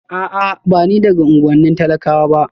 A'a ba ni daga unuwannin talakawa ba